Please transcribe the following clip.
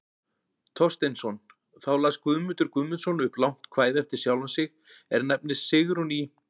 Thorsteinsson, þá las Guðmundur Guðmundsson upp langt kvæði eftir sjálfan sig, er nefnist Sigrún í